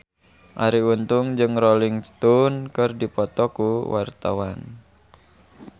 Arie Untung jeung Rolling Stone keur dipoto ku wartawan